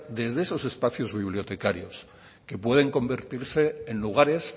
desde esos espacios bibliotecarios que pueden convertirse en lugares